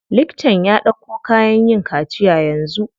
Liktan ya ɗauko kayan yin kaciya yanzu.